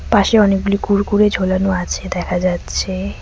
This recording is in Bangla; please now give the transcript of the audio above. পাশে অনেকগুলি কুরকুরে ঝুলানো আছে দেখা যাচ্ছে।